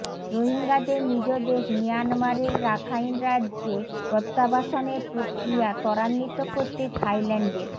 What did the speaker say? রোহিঙ্গাদের নিজ দেশ মিয়ানমারের রাখাইন রাজ্যে প্রত্যাবাসনের প্রক্রিয়া ত্বরান্বিত করতে থাইল্যান্ডের